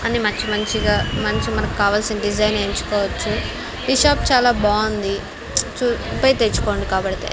అన్ని మచ్చి మంచిగా మంచి మనకావలసిన డిజైన్ ఎంచుకోవచ్చు ఈ షాప్ చాలా బాంది ప్స్ చు పొయ్ తెచ్చుకోండి కాబడితే.